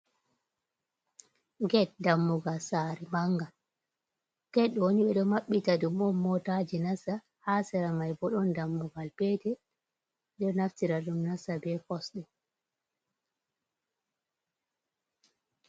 Ged dammugal sare mangal, ged ɗo ni ɓe ɗo maɓɓi ta ɗum on motaji nasta ha sera mai, bo ɗon dammugal petel ɗo naftira ɗum nasta be kosɗe.